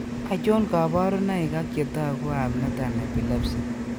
Achon kaborunoik ak chetogu ab nothern epilepsy